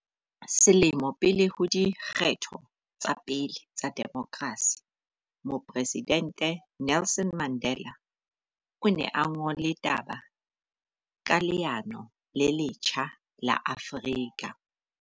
Selemo pele ho di kgetho tsa pele tsa demokrasi, Mopre sidente Nelson Mandela o ne a ngole taba ka leano le letjha la Afrika.